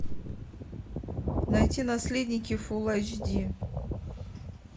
найти наследники фул айч ди